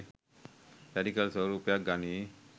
Radical ස්වරූපයක් ගනියි.